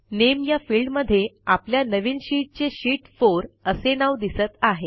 नामे या फिल्डमध्ये आपल्या नवीन शीटचे शीत 4 असे नाव दिसत आहे